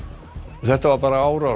þetta var bara árás